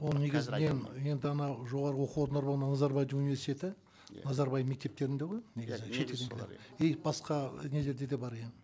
ол негізінен енді анау жоғарғы оқу орындар ол назарбаев университеті назарбаев мектептерінде ғой негізі и басқа нелерде де бар иә